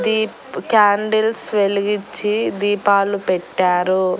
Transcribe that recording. Deep candles వెలిగిచ్చి దీపాలు పెట్టారు.